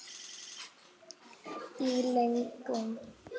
Í lögum